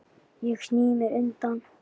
Ég sný mér undan.